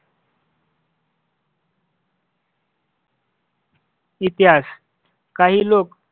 इतिहास काही लोक